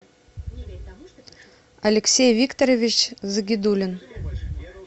алексей викторович загидуллин